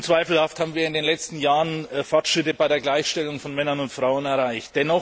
Unzweifelhaft haben wir in den letzten Jahren Fortschritte bei der Gleichstellung von Männern und Frauen erreicht.